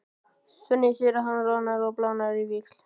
Svenni sér að hann roðnar og blánar á víxl.